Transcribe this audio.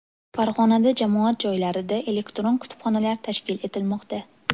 Farg‘onada jamoat joylarida elektron kutubxonalar tashkil etilmoqda.